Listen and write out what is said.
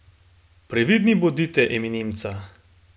Previdni bodite, eminenca.